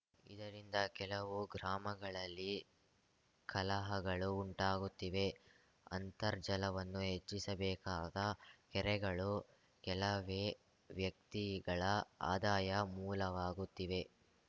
ಇದರಿಂದ ಕೆಲವು ಗ್ರಾಮಗಳಲ್ಲಿ ಕಲಹಗಳು ಉಂಟಾಗುತ್ತಿವೆ ಅಂತರ್ಜಲವನನ್ನು ಹೆಚ್ಚಿಸಬೇಕಾದ ಕೆರೆಗಳು ಕೆಲವೇ ವ್ಯಕ್ತಿಗಳ ಆದಾಯ ಮೂಲವಾಗುತ್ತಿವೆ